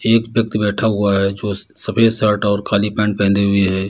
एक व्यक्ति बैठा हुआ है जो सफ़ेद शर्ट और काली पैंट पहने हुए है।